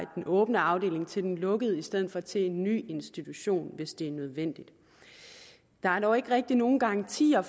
den åbne afdeling til den lukkede i stedet for til en ny institution hvis det er nødvendigt der er dog ikke rigtig nogen garantier